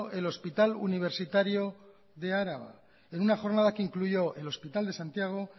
el hospital universitario de álava en una jornada que incluyó el hospital de santiago